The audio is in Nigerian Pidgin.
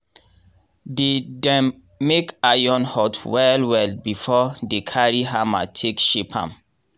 dey dem make iron hot well well before dey carry hammer take shape am.